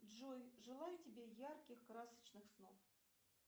джой желаю тебе ярких красочных снов